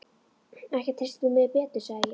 Ekki treystir þú mér betur, sagði ég.